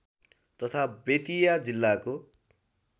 तथा बेतिया जिल्लाको